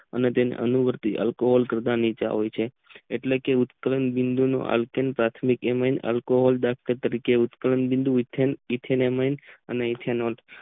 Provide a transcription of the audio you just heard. અને તાના આલ્કોહોલ કરતા નીચા હોય છે એટલે કે ઉકલેન બિદું નું પાર્થીમિક એમી આલ્કોહોલ તરીકે ઉત્કલન બિદું એથેમન અને ઈથેનેમ